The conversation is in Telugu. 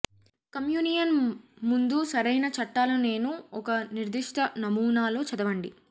కమ్యూనియన్ ముందు సరైన చట్టాల నేను ఒక నిర్దిష్ట నమూనా లో చదవండి